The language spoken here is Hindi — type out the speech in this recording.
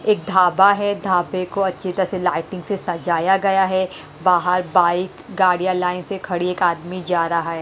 एक ढाबा है ढाबे को अच्छी तरह से लाइटिंग से सजाया गया है बाहर बाइक गाड़ियां लाइन से खड़ी एक आदमी जा रहा है।